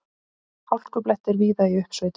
Hálkublettir víða í uppsveitum